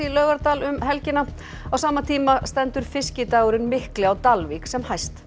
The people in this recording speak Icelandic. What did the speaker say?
í Laugardal um helgina á sama tíma stendur fiskidagurinn mikli á Dalvík sem hæst